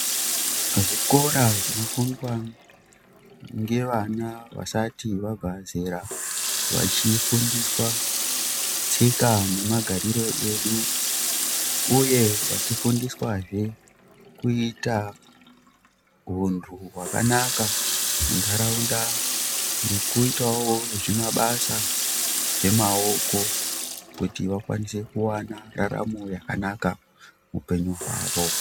Muzvikora zvinofundwa ngevana vasati vabva zera vachifundiswa tsika nemagariro edu . Uye vachifundiswazve kuita huntu hwakanaka muntaraunda nekuitawo zvimabasa zvemaoko kuti vakwanise kuwana raramo yakanaka muupenyu hwawo.